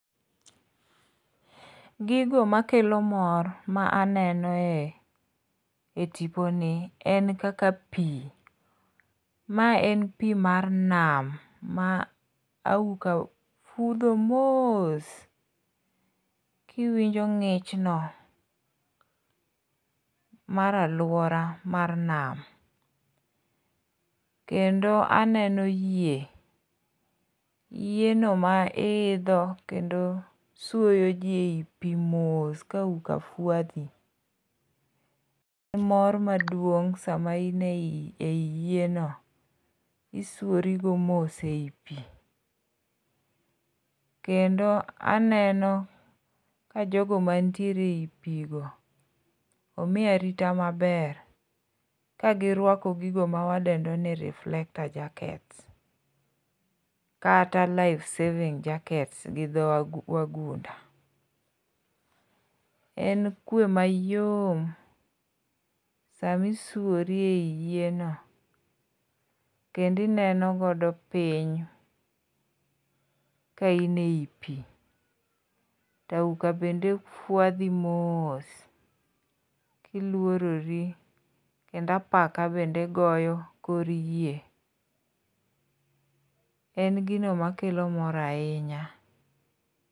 Gigo makelo mor ma aneno tiponi en kaka pi, mae en pi mar nam ma auka kudho mos, kiwinjo ng'ichno mar alwora mar nam. Kendo aneno yie ,yieno ma iidho kendo suoyo ji e pi mos kauka fwadhi,e mor maduong' sama ine i yieno, isuorigo mos e i pi. Kendo aneno jogo manitiere e i pigo, omi arita maber kagirwako gigo mawadendo ni [cd]reflector jackets kata life saving jackets gi dho wagunda. En kuwe mayom sami suori ei yieno, kendo ineno godo piny ka in ei pi, to auka bende fwadhi mos, tilworori kendo apaka bende goyo kor yie. En gino makelo mor ahinya.